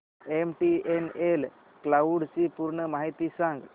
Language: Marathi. एमटीएनएल क्लाउड ची पूर्ण माहिती सांग